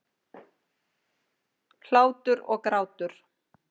Hlátur og grátur.